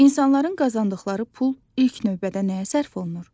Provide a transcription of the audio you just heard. İnsanların qazandıqları pul ilk növbədə nəyə sərf olunur?